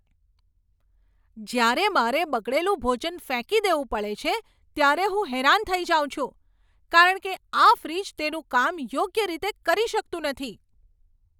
જ્યારે મારે બગડેલું ભોજન ફેંકી દેવું પડે છે ત્યારે હું હેરાન થઈ જાઉં છું કારણ કે આ ફ્રિજ તેનું કામ યોગ્ય રીતે કરી શકતું નથી!